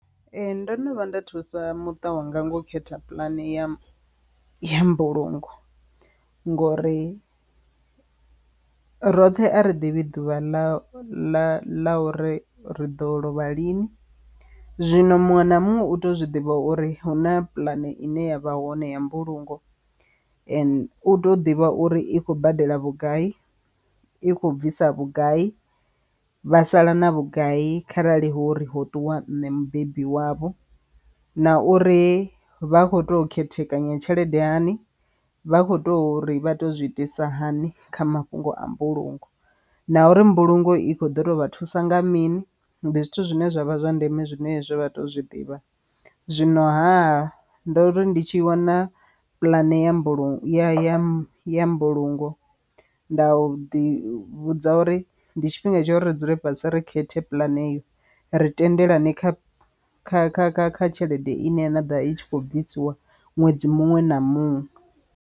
Ee ndo no vhuya nda thusa muta wanga ngo khetha pulane ya mbulungo ngori roṱhe a ri ḓivhi ḓuvha ḽa ḽa ḽa uri ri ḓo lovha lini, zwino muṅwe na muṅwe u tea u zwi ḓivha uri hu na puḽane ine yavha hone ya mbulungo u tea u ḓivha uri i khou badela vhugai, i khou bvisa vhugai, vha sala na vhugai kharali hu uri ho ṱuwa nṋe mubebi wavho na uri vha kho to khethekanya tshelede hani, vha kho to uri vha to zwi itisa hani kha mafhungo a mbulungo na uri mbulungo i kho ḓo to vha thusa nga mini ndi zwithu zwine zwavha zwa ndeme zwine hezwo vha tea u zwiḓivha. Zwino ha ndo ri ndi tshi wana pulane ya mbulungo ya ya mbulungo nda u ḓi vhudza uri ndi tshifhinga tsha uri ri dzule fhasi ri khethe pulane ri tendelani kha kha kha kha kha tshelede ine ya ḓa i tshi khou bvisiwa ṅwedzi muṅwe na muṅwe.